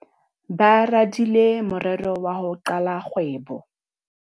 Ba radile morero wa ho qala kgwebo.